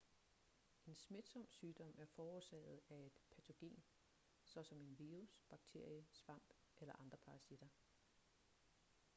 en smitsom sygdom er forårsaget af et patogen såsom en virus bakterie svamp eller andre parasitter